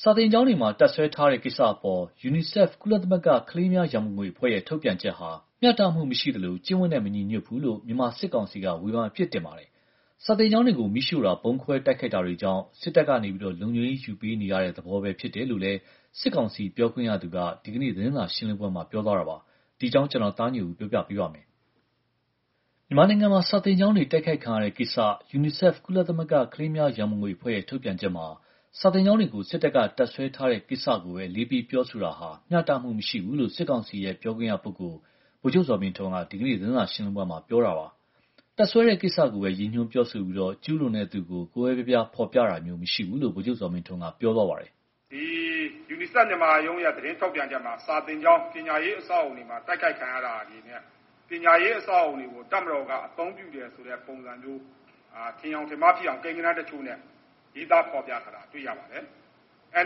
စာသင်ကျောင်းတွေမှာ တပ်စွဲထားတဲ့ကိစ္စအပေါ် UNICEF ကုလသမဂ္ဂ ကလေးများရန်ပုံငွေအဖွဲ့ရဲ့ ထုတ်ပြန်ချက်ဟာ မျှတမှုမရှိသလို ကျင့်ဝတ်နဲ့ မညီဘူးလို့ မြန်မာစစ်ကောင်စီက ဝေဖန်အပြစ်တင်လိုက်ပါတယ်။ စာသင်ကျောင်းတွေကို မီးရှို့တာ၊ ဗုံးခွဲတိုက်ခိုက်တာတွေကြောင့် စစ်တပ်က လုံခြုံရေး ယူပေးနေရတဲ့သဘော ဖြစ်တယ်လို့လည်း စစ်ကောင်စီ ပြောခွင့်ရသူက ဒီနေ့ သတင်းစာရှင်းလင်းပွဲမှာ ပြောလိုက်တာပါ။ အပြည့်အစုံကို ကိုသားညွန့်ဦး တင်ပြပေးထားပါတယ်။ မြန်မာနိုင်ငံမှာ စာသင်ကျောင်းတွေ တိုက်ခိုက်ခံရတဲ့ကိစ္စ UNICEF ကုလသမဂ္ဂ ကလေးများရန်ပုံငွေအဖွဲ့ ထုတ်ပြန်ချက်မှာ စာသင်ကျောင်းတွေကို စစ်တပ်က တပ်စွဲထားတဲ့ကိစ္စ အလေးပေး ပြောဆိုတာဟာ မျှတမှုမရှိဘူးလို့ စစ်ကောင်စီ ပြောခွင့်ရပုဂ္ဂိုလ် ဗိုလ်ချုပ်ဇော်မင်းထွန်းက ဒီကနေ့ သတင်းစာရှင်းလင်းပွဲမှာ ပြောသွားတာပါ။ တပ်စွဲတဲ့ကိစ္စကိုပဲ ရည်ညွှန်းပြောဆိုပြီး ကျူးလွန်တဲ့သူကို ကွဲကွဲပြားပြား ဖော်ပြတာမျိုး မရှိဘူးလို့ ဗိုလ်ချုပ်ဇော်မင်းထွန်းက ပြောသွားပါတယ်။ “UNICEF မြန်မာရုံးရဲ့ သတင်းထုတ်ပြန်ချက်မှာ စာသင်ကျောင်း ပညာရေး အဆောက်အအုံတွေမှာ တိုက်ခိုက်ခံရတာတွေနဲ့ ပညာရေး အဆောက်အအုံတွေကို တပ်မတော်က အသုံးပြုတယ်ဆိုတဲ့ ပုံစံမျိုး ထင်ယောင်ထင်မှားဖြစ်အောင် ကိန်းဂဏန်းတချို့နဲ့ ရေးသားဖော်ပြထားတာ တွေ့ရပါတယ်။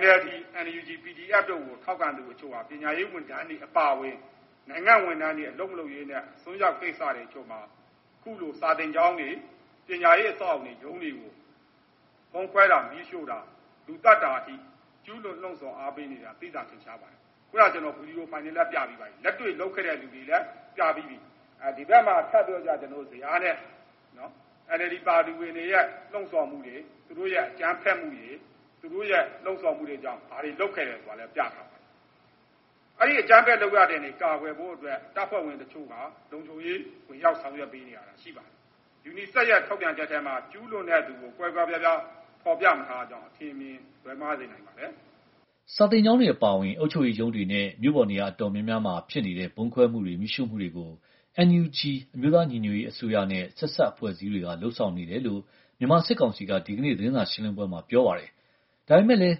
NLD, NUG, PDF တို့ကို ထောက်ခံသူအချို့ဟာ ပညာရေးဝန်ထမ်းတွေ အပါအဝင် နိုင်ငံ့ဝန်ထမ်းတွေ အလုပ်မလုပ်ရေးနဲ့ အစွန်းရောက်ကိစ္စတချို့မှာ အခုလို စာသင်ကျောင်းတွေ၊ ပညာရေး အဆောက်အအုံတွေ၊ ရုံးတွေကို ဗုံးခွဲတာ၊ မီးရှို့တာ၊ လူသတ်တာအထိ ကျူးလွန် လှုံ့ဆော် အားပေးနေတာ သိသာထင်ရှားပါတယ်။ ခုန ကျနော် ဗွီဒီယိုဖိုင်တွေနဲ့ ပြပြီးပါပြီ။ လက်တွေ့လုပ်ခဲ့တဲ့လူတွေလည်း ပြပြီးပြီ။ ဒီဘက်မှာ ထပ်ပြီးတော့ ဇယားနဲ့ NLD ပါတီဝင်တွေရဲ့ လှုံ့ဆော်မှုတွေ၊ သူတို့ရဲ့ အကြမ်းဖက်မှုတွေ၊ သူတို့ရဲ့ လှုံ့ဆော်မှုတွေကြောင့် ဘာတွေလုပ်ခဲ့တယ် ဆိုတာလည်း ပြထားပါတယ်။ အဲဒီ အကြမ်းဖက်လုပ်ရပ်တွေကနေ ကာကွယ်ဖို့အတွက် တပ်ဖွဲ့ဝင်တချို့ လုံခြုံရေး ဝင်ရောက် ဆောင်ရွက်ပေးနေရတာ ရှိပါတယ်။ UNICEF ရဲ့ ထုတ်ပြန်ချက်ထဲမှာ ကျူးလွန်တဲ့သူကို ကွဲကွဲပြားပြား ဖော်ပြမထားတာကြောင့် အထင်အမြင် လွဲမှားစေနိုင်ပါတယ်။” စာသင်ကျောင်းတွေ အပါအဝင် အုပ်ချုပ်ရေးရုံးတွေနဲ့ မြို့ပေါ်နေရာ အတော်များများမှာ ဖြစ်နေတဲ့ ဗုံးခွဲမှုတွေ၊ မီးရှို့မှုတွေကို NUG အမျိုးသားညီညွတ်ရေးအစိုးရနဲ့ ဆက်စပ်အဖွဲ့တွေက လုပ်နေတယ်လို့ မြန်မာစစ်ကောင်စီက ဒီကနေ့ သတင်းစာရှင်းလင်းပွဲမှာ ပြောပါတယ်။ ဒါပေမယ့်လည်း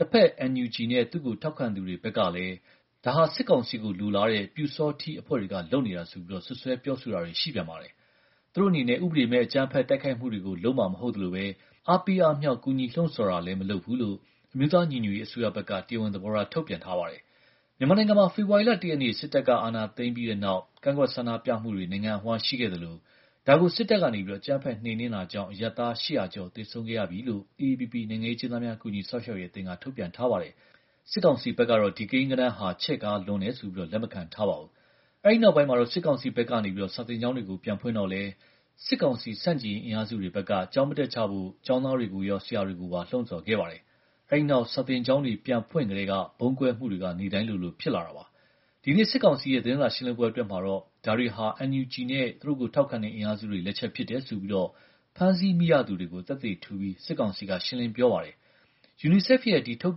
တဖက် NUG နဲ့ သူ့ကိုထောက်ခံသူတွေဘက်ကလည်း ဒါဟာ စစ်ကောင်စီကို လိုလားတဲ့ ပျူစောထီးအဖွဲ့တွေက လုပ်နေတာဆိုပြီး စွပ်စွဲပြောဆိုတာတွေ ရှိပြန်ပါတယ်။ သူတို့အနေနဲ့ ဥပဒေမဲ့ အကြမ်းဖက်တိုက်ခိုက်မှုတွေကို လုပ်မှာမဟုတ်သလို အားပေးအားမြှောက် ကူညီလှုံ့ဆော်တာလည်း မလုပ်ဘူးလို့ အမျိုးသားညီညွတ်ရေးအစိုးရဘက်က တရားဝင်သဘောထား ထုတ်ပြန်ထားပါတယ်။ မြန်မာနိုင်ငံမှာ ဖေဖော်ဝါရီလ ၁ ရက်နေ့ စစ်တပ်က အာဏာသိမ်းပြီးနောက် ကန့်ကွက်ဆန္ဒပြမှုတွေ နိုင်ငံအဝန်း ရှိခဲ့သလို ဒါကို စစ်တပ်က အကြမ်းဖက် နှိမ်နင်းတာကြောင့် အရပ်သား ၈၀၀ ကျော် သေဆုံးခဲ့ရပြီလို့ AAPP နိုင်ငံရေးအကျဉ်းသားများ ကူညီစောင့်ရှောက်ရေးအသင်းက ထုတ်ပြန်ထားပါတယ်။ စစ်ကောင်စီဘက်ကတော့ ဒီကိန်းဂဏန်းဟာ ချဲ့ကားတယ်ဆိုပြီး လက်မခံထားပါဘူး။ အဲဒီနောက် စစ်ကောင်စီဘက်က စာသင်ကျောင်းတွေကို ပြန်ဖွင့်တော့လည်း စစ်ကောင်စီဆန့်ကျင်ရေး အင်အားစုတွေဘက်က ကျောင်းမတက်ကြဖို့ ကျောင်းသားတွေကိုရော ဆရာတွေကိုပါ လှုံ့ဆော်ခဲ့ပါတယ်။ အဲဒီနောက် စာသင်ကျောင်းတွေ ပြန်ဖွင့်ကတည်းက ဗုံးပေါက်ကွဲမှုတွေ နေ့တိုင်းလိုလို ဖြစ်လာတာပါ။ ဒီနေ့ စစ်ကောင်စီရဲ့ သတင်းစာရှင်းလင်းပွဲ အတွင်းမှာတော့ ဒါတွေဟာ NUG နဲ့ သူ့ကိုထောက်ခံတဲ့ အင်အားစုတွေလက်ချက် ဖြစ်တယ်ဆိုပြီး ဖမ်းမိရသူတွေကို သက်သေထူပြီး စစ်ကောင်စီက ရှင်းလင်းပြောကြားပါတယ်။ UNICEF ရဲ့ ဒီထုတ်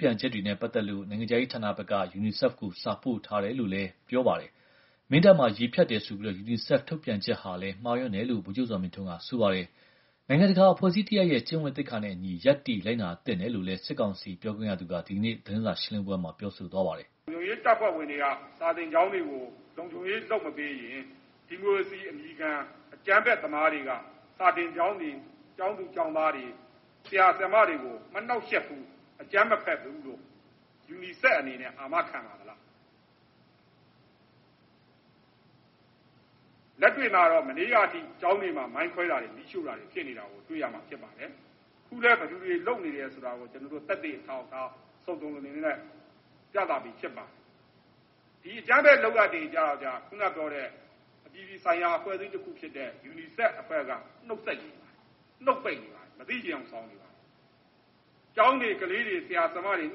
ပြန်ချက်တွေနဲ့ ပတ်သက်လို့ နိုင်ငံခြားရေးဌာနဘက်က UNICEF ကို စာပို့ထားတယ်လို့ ပြောပါတယ်။ မင်းတပ်မှာ ရေဖြတ်တယ်ဆိုပြီး UNICEF ထုတ်ပြန်ချက်ဟာလည်း မှားယွင်းတယ်လို့ ဗိုလ်ချုပ်ဇော်မင်းထွန်းက ပြောပါတယ်။ UNICEF အနေနဲ့ နိုင်ငံတကာ အဖွဲ့အစည်းတရပ်ရဲ့ ကျင့်ဝတ်သိက္ခာနဲ့အညီ ရပ်တည်လိုက်နာသင့်တယ်လို့ စစ်ကောင်စီပြောခွင့်ရသူက ဒီနေ့ သတင်းစာရှင်းလင်းပွဲမှာ ပြောခဲ့ပါတယ်။ “လုံခြုံရေးတပ်ဖွဲ့ဝင်တွေက စာသင်ကျောင်းတွေကို လုံခြုံရေး လုပ်မပေးရင် ဒီမိုကရေစီအမည်ခံ အကြမ်းဖက်သမားတွေက စာသင်ကျောင်းတွေ၊ ကျောင်းသူ ကျောင်းသားတွေ၊ ဆရာ ဆရာမတွေကို မနှောင့်ယှက်ဘူး၊ အကြမ်းမဖက်ဘူးလို့ UNICEF အနေနဲ့ အာမခံပါသလား။ လက်တွေ့မှာတော့ မနေ့ကအထိ ကျောင်းတွေမှာ မိုင်းခွဲတာတွေ၊ မီးရှို့တာတွေ ဖြစ်နေတာ တွေ့ရမှာ ဖြစ်ပါတယ်။ အခုလည်း ဘယ်သူတွေ လုပ်နေတယ်ဆိုတာ ကျနော်တို့ သက်သေအထောက်အထား စုံစုံလင်လင်နဲ့ ပြသပြီး ဖြစ်ပါတယ်။ ဒီအကြမ်းဖက်လုပ်ရပ်တွေကြတော့ ခုနပြောတဲ့ အပြည်ပြည်ဆိုင်ရာ အဖွဲ့အစည်းတခုဖြစ်တဲ့ UNICEF အဖွဲ့က နှုတ်ဆိတ်နေတယ်၊ နှုတ်ပိတ်နေတယ်၊ မသိချင်ယောင် ဆောင်နေပါတယ်။ ကျောင်းတွေ ကလေးတွေ ဆရာ ဆရာမတွေ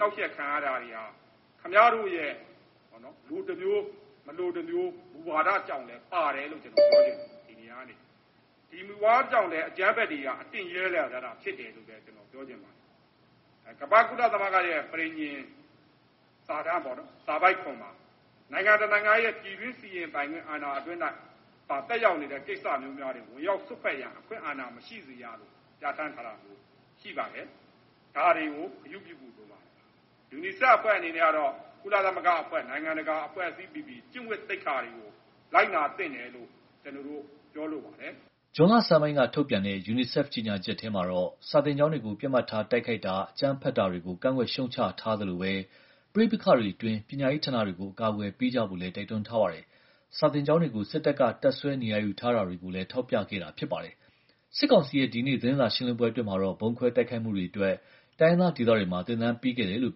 နှောင့်ယှက်ခံရတာတွေဟာ ခင်ဗျားတို့ရဲ့ လိုတမျိုး၊ မလိုတမျိုး မူဝါဒကြောင့်လည်း ပါတယ်လို့ ကျနော် ပြောချင်ပါတယ်၊ ဒီနေရာကနေ။ ဒီမူဝါဒကြောင့်လည်း အကြမ်းဖက်တွေက အတင့်ရဲလာကြတာ ဖြစ်တယ်လို့လည်း ကျနော် ပြောချင်ပါတယ်။ ကမ္ဘာ့ကုလသမဂ္ဂရဲ့ ပဋိညာဉ် စာတမ်းပေါ့နော်၊ စာပိုဒ်ပေါ်မှာ နိုင်ငံတနိုင်ငံရဲ့ ပြည်တွင်းစီရင်ပိုင်ခွင့် အာဏာအတွင်း၌ သက်ရောက်နေတဲ့ ကိစ္စမျိုးများတွင် ဝင်ရောက်စွက်ဖက်ရန် အခွင့်အာဏာ မရှိစေရလို့ ပြဋ္ဌာန်းထားတာ ရှိပါတယ်။ ဒါတွေကို ဂရုပြုဖို့ လိုပါတယ်။ UNICEF အဖွဲ့အနေနဲ့ကတော့ ကုလသမဂ္ဂအဖွဲ့၊ နိုင်ငံတကာအဖွဲ့အစည်းပီပီ ကျင့်ဝတ်သိက္ခာတွေကို လိုက်နာသင့်တယ်လို့ ကျနော်တို့ ပြောလိုပါတယ်။” ဇွန်လဆန်းပိုင်းက ထုတ်ပြန်တဲ့ UNICEF ကြေညာချက်ထဲမှာတော့ စာသင်ကျောင်းတွေကို ပစ်မှတ်ထား တိုက်ခိုက်တာ၊ အကြမ်းဖက်တာတွေကို ကန့်ကွက်ရှုတ်ချထားသလို ပဋိပက္ခအတွင်း ပညာရေးဌာနတွေကို အကာအကွယ် ပေးကြဖို့လည်း တိုက်တွန်းထားပါတယ်။ စာသင်ကျောင်းတွေကို စစ်တပ်က တပ်စွဲ နေရာယူထားတာတွေကိုလည်း ထောက်ပြခဲ့တာ ဖြစ်ပါတယ်။ စစ်ကောင်စီရဲ့ ဒီနေ့ သတင်းစာရှင်းလင်းပွဲ အတွင်းမှာတော့ ဗုံးခွဲတိုက်ခိုက်မှုတွေအတွက် တိုင်းရင်းသားဒေသတွေမှာ သင်တန်းပေးခဲ့တယ်လို့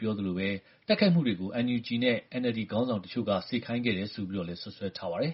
ပြောသလို တိုက်ခိုက်မှုတွေကို NUG နဲ့ NLD ခေါင်းဆောင်တချို့က စေခိုင်းတယ် ဆိုပြီးတော့လည်း စွပ်စွဲထားပါတယ်